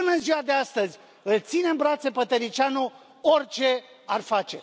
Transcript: Și, până în ziua de astăzi, îl ține în brațe pe Tăriceanu, orice ar face.